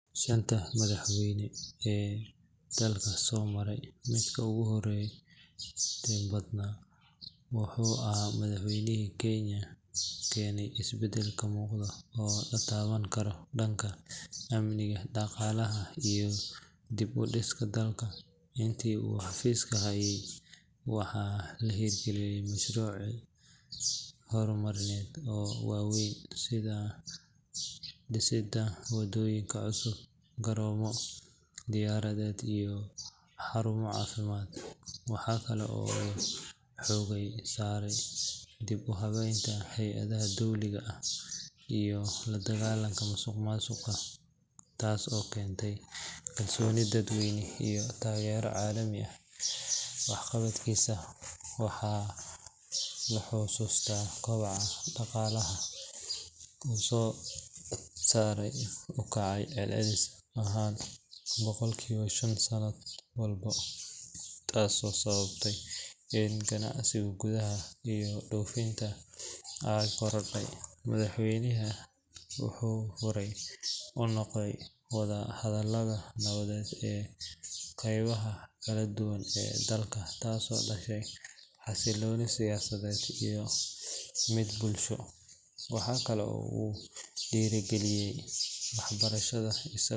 Shanta madaxweyne ee dalka soo maray, midka ugu horumarinta badan wuxuu ahaa madaxweynihii keenay isbedel muuqda oo la taaban karo dhanka amniga, dhaqaalaha, iyo dib u dhiska dalka. Intii uu xafiiska hayay, waxaa la hirgeliyey mashaariic horumarineed oo waaweyn sida dhisidda waddooyin cusub, garoomo diyaaradeed, iyo xarumo caafimaad. Waxaa kale oo uu xoogga saaray dib u habeynta hay’adaha dowliga ah iyo la dagaalanka musuqmaasuqa taas oo keentay kalsooni dadweyne iyo taageero caalami ah. Waxqabadkiisa waxaa lagu xasuustaa kobaca dhaqaalaha oo sare u kacay celcelis ahaan boqolkiiba shan sanad walba, taasoo sababtay in ganacsiga gudaha iyo dhoofinta ay korodho. Madaxweynahan wuxuu fure u noqday wada-hadalada nabadeed ee qaybaha kala duwan ee dalka, taasoo dhashay xasilooni siyaasadeed iyo mid bulsho. Waxa kale oo uu dhiirrigeliyey waxbarashada.